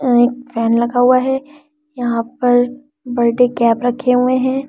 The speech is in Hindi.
अ एक फैन लगा हुआ है यहां पर बर्थडे कैप रखे हुए हैं।